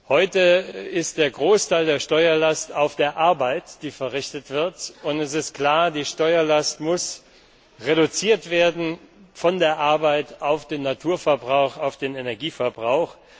Heute liegt der Großteil der Steuerlast auf der Arbeit, die verrichtet wird, und es ist klar Die Steuerlast muss reduziert werden, von der Arbeit auf den Naturverbrauch, auf den Energieverbrauch.